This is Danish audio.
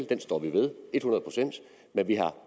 den står vi ved et hundrede procent men vi har